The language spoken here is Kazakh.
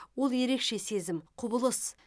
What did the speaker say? ол ерекше сезім құбылыс